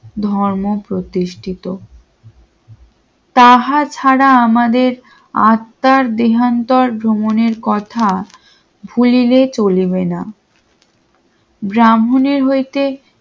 ধর্ম প্রতিষ্ঠিত তাহা ছাড়া আমাদের আত্মার দেহান্তর ভ্রমণের কথা ভুলিলে চলবেনা ব্রাহ্মণের হইতে